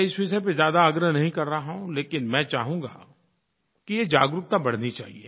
मैं इस विषय पर ज़्यादा आग्रह नहीं कर रहा हूँ लेकिन मैं चाहूँगा कि ये जागरूकता बढ़नी चाहिए